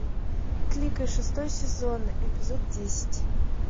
кликай шестой сезон эпизод десять